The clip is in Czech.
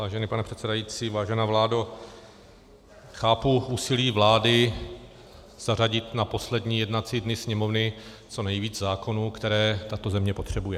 Vážený pane předsedající, vážená vládo, chápu úsilí vlády zařadit na poslední jednací dny Sněmovny co nejvíce zákonů, které tato země potřebuje.